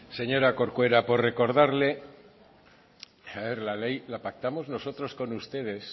señora corcura por recordarle la ley la pactamos nosotros con ustedes